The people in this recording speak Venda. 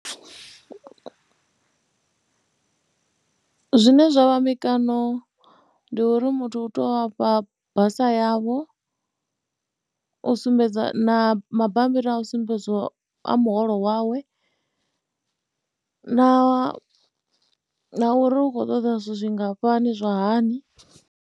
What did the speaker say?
Zwine zwa vha mikano ndi uri muthu u tea u vha fha basa yavho, u sumbedza na mabambiri a u sumbedziwa a muholo wawe na uri, na uri u khou ṱoḓa zwithu zwingafhani zwa hani.